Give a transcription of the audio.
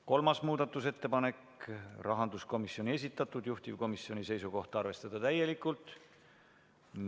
Kolmas muudatusettepanek on rahanduskomisjoni esitatud, juhtivkomisjoni seisukoht on arvestada täielikult.